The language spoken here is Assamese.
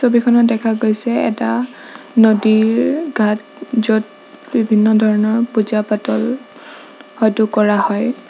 ছবিখনত দেখা গৈছে এটা নদীৰ গাত য'ত বিভিন্ন ধৰণৰ পূজা পাতল হয়টো কৰা হয়।